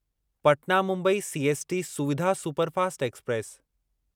Patna Mumbai CST Suvidha superfast express